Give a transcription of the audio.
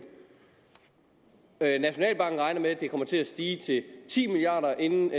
nationalbanken regner med at det tal kommer til stige til ti milliard kr inden